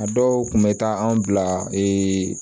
A dɔw kun bɛ taa an bila